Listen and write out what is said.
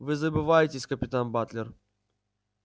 вы забываетесь капитан батлер